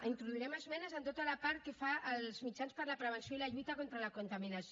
introduirem esmenes en tota la part que fa als mitjans per a la prevenció i la lluita contra la contaminació